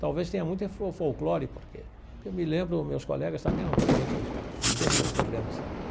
Talvez tenha muita, porque eu me lembro, meus colegas também eram todos gente sem muitos problemas.